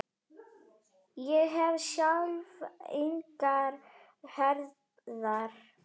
Ég hef sjálf engar herðar.